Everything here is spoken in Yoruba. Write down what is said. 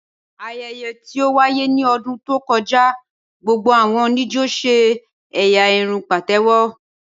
Ayẹyẹ ti o waye ni ọdun to kọja, gbogbo awọn onijo ṣe ẹ́yá írun patewo.